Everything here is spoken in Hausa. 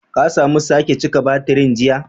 Ka samu sake cika batirin jiya?